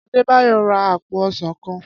Adédayò ra àpò ọsàn kan.